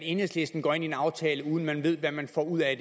at enhedslisten går ind i en aftale uden at man ved hvad man får ud af